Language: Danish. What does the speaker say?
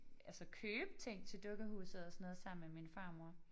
Altså købe ting til dukkehuset og sådan noget sammen med min farmor